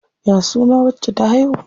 Ya suna wacce ta haihu?